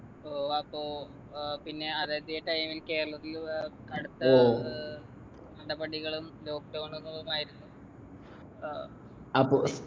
ഏർ അപ്പൊ ഏർ പിന്നെ അതായത് ഇയ time ൽ കേരളത്തിൽ ഏർ കടുത്ത ഏർ നടപടികളും lockdown കളുമായിരുന്നു ഏർ